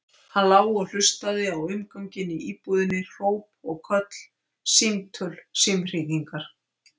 Hann lá og hlustaði á umganginn í íbúðinni, hróp og köll, símtöl, símhringingar.